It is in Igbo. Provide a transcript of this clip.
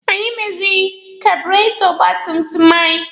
Anyị meziri kaaburetọ ọgba tum tum anyị